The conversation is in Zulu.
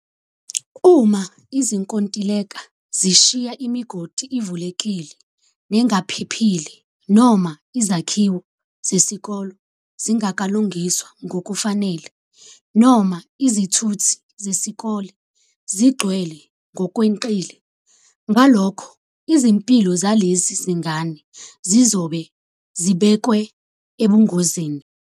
Uma izinkontileka zishiya imigodi ivulekile nengaphe phile noma izakhiwo zesikole zingakalungiswa ngokufanele noma izithuthi zesikole zigcwele ngokweqile, ngalokho izimpilo zalezi zingane zizobe zibekwa ebungozini.